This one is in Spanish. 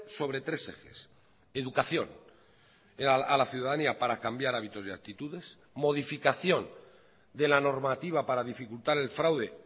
sobre tres ejes educación a la ciudadanía para cambiar hábitos y actitudes modificación de la normativa para dificultar el fraude